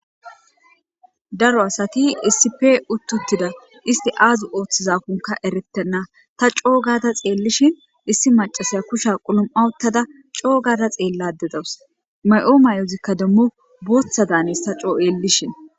Daro asati issipe utti uttida. Isti aazo ooththizakoneka erettena. Ta coo gada xeellishin issi macasaya kusha quluma uttada coo gada xeellada dawus. Mayo mayozikka demmo booththadaan hanes ta coo xeellishin.